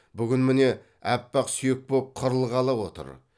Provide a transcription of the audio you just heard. бүгін міне аппақ сүйек боп қырылғалы отыр